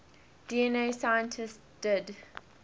dna scientists did